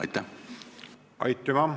Aitüma!